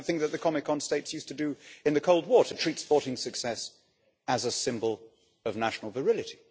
It was the kind of thing that the Comecon states used to do in the Cold War, to treat sporting success as a symbol of national virility.